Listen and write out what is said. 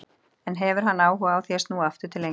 En hefur hann áhuga á því að snúa aftur til Englands?